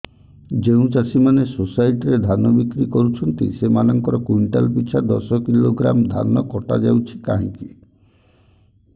ଯେଉଁ ଚାଷୀ ମାନେ ସୋସାଇଟି ରେ ଧାନ ବିକ୍ରି କରୁଛନ୍ତି ସେମାନଙ୍କର କୁଇଣ୍ଟାଲ ପିଛା ଦଶ କିଲୋଗ୍ରାମ ଧାନ କଟା ଯାଉଛି କାହିଁକି